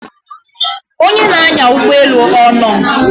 onye na-anya ụgbọelu ọnọ?